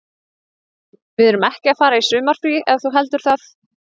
Við erum ekki að fara í sumarfrí ef þú heldur það.